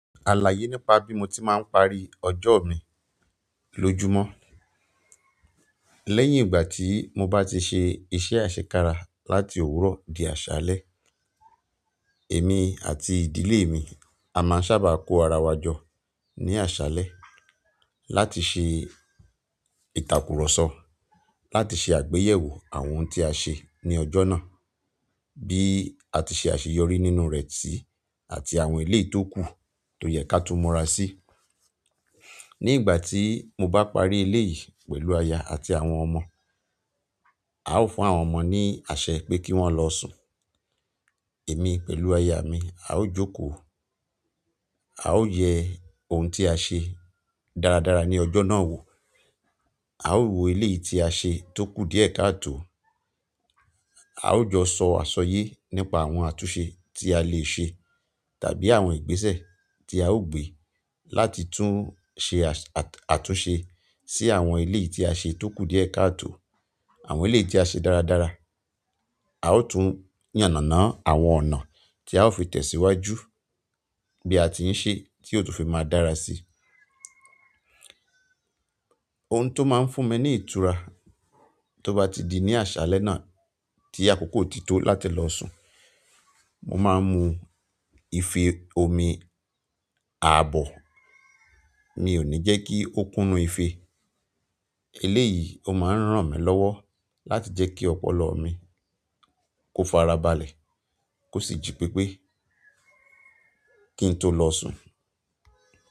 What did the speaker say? Àlàyé nípa bí mo ti máa ń parí ọjọ́ mi lójúmọ́. Lẹ́yìn ìgbà tí mo bá ti ṣe iṣẹ́ àṣekára láti òwúrọ̀ di àṣálẹ́, èmi àti ìdílé mi a ma ń saábà kó ara wa jọ ní àṣálẹ́ láti ṣe ìtàkùrọ̀sọ láti ṣe àgbéyẹ̀wò àwọn ohun tí a ṣe ní ọjọ́ náà. Bí a ti ṣe àṣeyọrí nínú rẹ̀ si àti àwọn eleyii tó kù tó yẹ ká tun múra sí. Ní ìgbà tí mo bá parí eleyìí pẹ̀lú aya àti àwọn ọmọ, a ó fún àwọn ọmọ ní àṣẹ pé kí wọ́n lọ sùn, èmi pẹ̀lú aya mi a ó jókòó, a ó yẹ ohun tí a ṣe dáradára ní ọjọ́ náà wò, a ó wo eleyii tí a ṣe tó kù díẹ̀ káàtò, a ó jọ sọ àṣọyé nípa àwọn àtúnṣe tí a lè ṣe tàbí àwọn ìgbésẹ̀ tí a ó gbé láti tún ṣe àtúnṣe sí àwọn eleyii tí a ṣe tó kù díẹ̀ káàtò, àwọn eleyii tí a ṣe dáradára. A ó tún yànnànánà àwọn ọ̀nà tí a ó fi tẹ̀síwájú bí a ti ń ṣe tí ó tún fi máa dára si. Ohun to ma n fún mi ni ìtura to ba ti di ni asale náà ti akoko ti to láti lo sun, mo ma n mu ìfẹ́ omi aabo. Mi ò ní jẹ́ kí ó kún inú ìfé. Eléyìí ó máa ń ràn mí lọ́wọ́ láti jẹ́ kí ọpọlọ mi kó farabalẹ̀ kó sì jí pépé kí n tó lọ sùn.